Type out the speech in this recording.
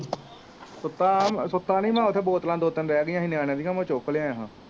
ਸੁੱਤਾ ਸੁੱਤਾ ਨੀ ਮੈਂ ਉੱਥੇ ਬੋਤਲਾਂ ਦੋ ਤਿੰਨ ਰੇਹ ਗਈਆ ਸੀ ਨਿਆਣਿਆਂ ਦੀਆ ਮੈਂ ਚੁੱਕ ਲੈ ਆਇਆ ਹਾਂ